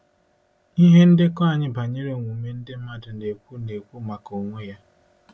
Ihe ndekọ anyị banyere omume ndị mmadụ na-ekwu na-ekwu maka onwe ya.